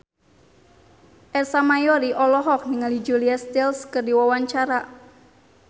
Ersa Mayori olohok ningali Julia Stiles keur diwawancara